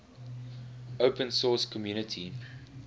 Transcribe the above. open source community